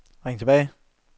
ring tilbage